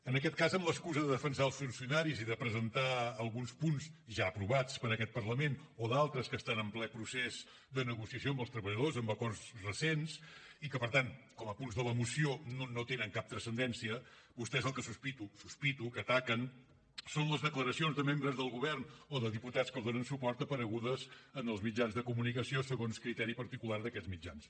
en aquest cas amb l’excusa de defensar els funcionaris i de presentar alguns punts ja aprovats per aquest parlament o d’altres que estan en ple procés de negociació amb els treballadors amb acords recents i que per tant com a punts de la moció no tenen cap transcendència vostès el que sospito sospito que ataquen són les declaracions de membres del govern o de diputats que els donen suport aparegudes en els mitjans de comunicació segons criteri particular d’aquests mitjans